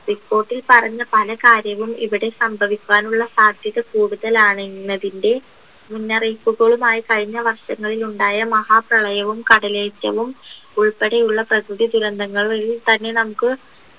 report ൽ പറഞ്ഞ പല കാര്യങ്ങളും ഇവിടെ സംഭവിക്കാനുള്ള സാധ്യത കൂടുതലാണ് എന്നതിൻ്റെ മുന്നറിയിപ്പുകളുമായി കഴിഞ്ഞ വർഷങ്ങളിൽ ഉണ്ടായ മഹാ പ്രളയവും കടലേറ്റവും ഉൾപ്പെടെ ഉള്ള പ്രകൃതി ദുരന്തങ്ങളും വഴി തന്നെ നമുക്ക്